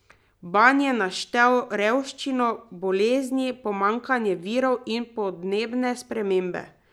Ban je naštel revščino, bolezni, pomanjkanje virov in podnebne spremembe.